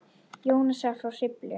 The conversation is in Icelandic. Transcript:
Jónasar frá Hriflu.